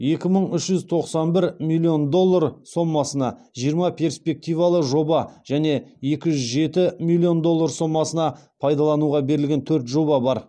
екі мың үш жүз тоқсан бір миллион доллар сомасына жиырма перспективалы жоба және екі жүз жеті миллион доллар сомасына пайдалануға берілген төрт жоба бар